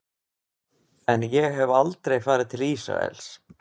En ég hef aldrei farið til Ísraels.